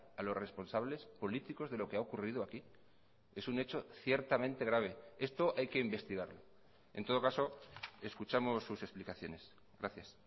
a los responsables políticos de lo que ha ocurrido aquí es un hecho ciertamente grave esto hay que investigarlo en todo caso escuchamos sus explicaciones gracias